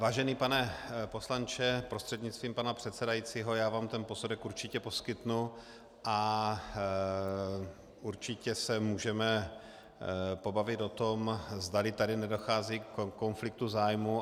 Vážený pane poslanče prostřednictvím pana předsedajícího, já vám ten posudek určitě poskytnu a určitě se můžeme pobavit o tom, zdali tady nedochází ke konfliktu zájmů.